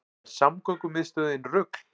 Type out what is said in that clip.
Er samgöngumiðstöðin rugl